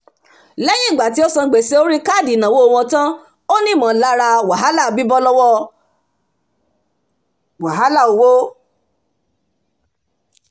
lẹ́yìn ìgbà tí ó san gbèsè orí káàdì ìnáwó wọn tán ó ní ìmọ̀lára bíbọ́ lọ́wọ́ wàhálà owó